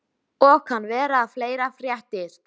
Og kann vera að fleira fréttist.